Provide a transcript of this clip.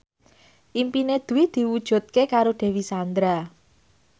impine Dwi diwujudke karo Dewi Sandra